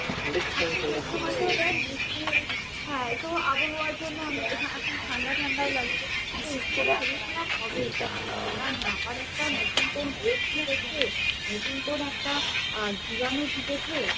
এখন চৈত্রমাসে দেখ বৃষ্টি হ্যাঁ তো আবহাওয়ার জন্য এখন ঠান্ডা ঠান্ডাও লাগছে। তা এই সময় শরীর খারাপ হবেই। কিচ্ছু করার নেই। আবার একটা নতুন কোন রোগ ঢুকেছে। নতুন কোন একটা জীবাণু ঢুকেছে।